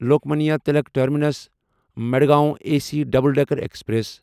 Lokmanya Tilak terminus Madgaon A C double decker express